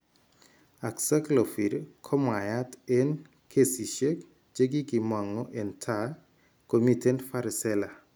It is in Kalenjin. Acyclovir komwaiyaat eng, kesisiek chekikimong'u eng' taa komiten varicella